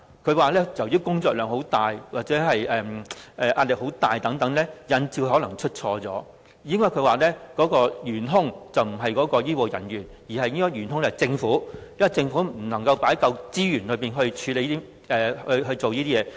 郭家麒議員表示，由於醫護人員的工作量和壓力很大等，引致他們出錯，事故的元兇並非醫護人員，而是政府，因為政府未能投放足夠資源處理這些問題。